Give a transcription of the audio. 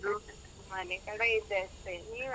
ಮನೆ ಕಡೆ ಇದ್ದೆ ಅಷ್ಟೇ, ನೀವ್.